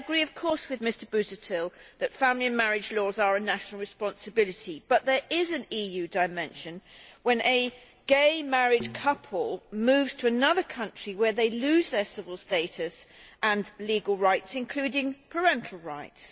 I agree, of course, with Mr Busuttil that family marriage laws are a national responsibility, but there is an EU dimension when a gay married couple moves to another country where they lose their civil status and legal rights, including parental rights.